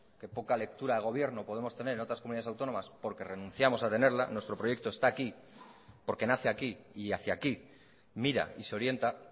que poca lectura de gobierno podemos tener en otras comunidades autónomas porque renunciamos a tenerla nuestro proyecto está aquí porque nace aquí y hacia aquí mira y se orienta